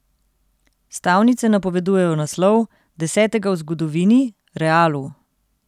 Stavnice napovedujejo naslov, desetega v zgodovini, Realu.